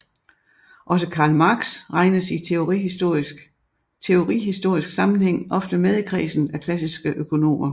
Også Karl Marx regnes i teorihistorisk sammenhæng ofte med i kredsen af klassiske økonomer